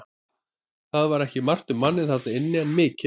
Það var ekki margt um manninn þarna inni en mikið reykt.